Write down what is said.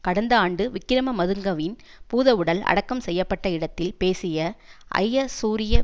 கடந்த ஆண்டு விக்கிரமதுங்கவின் பூதவுடல் அடக்கம் செய்ய பட்ட இடத்தில் பேசிய ஜயசூரிய